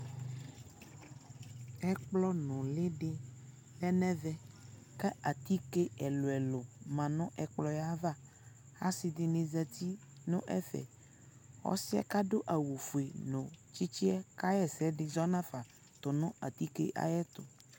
Ɛkplɔ nuli dι lɛ nɛ vɛ kɛ atike ɛluɛluɛlu ma nu ɛkplɔ ya avaAsi di ni zati nu ɛfɛƆsi yɛ adu awu fue nu tsitsi yɛ ku ɔka ɣɔ sɛ di zɔ na fa tu nu atike yɛ tu